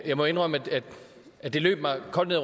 jeg må indrømme at det løb mig koldt ned